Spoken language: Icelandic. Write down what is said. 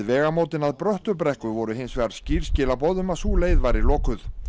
vegamótin að Bröttubrekku voru hins vegar skýr skilaboð um að sú leið væri lokuð